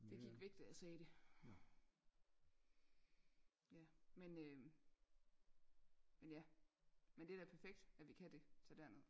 Det gik væk da jeg sagde det ja men øhm ja men det er da perfekt at vi kan det tage derned